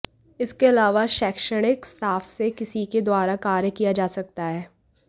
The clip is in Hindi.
इसके अलावा शैक्षणिक स्टाफ से किसी के द्वारा कार्य किया जा सकता है